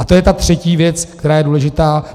A to je ta třetí věc, která je důležitá.